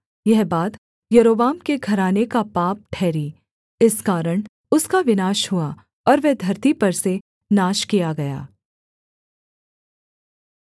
यह बात यारोबाम के घराने का पाप ठहरी इस कारण उसका विनाश हुआ और वह धरती पर से नाश किया गया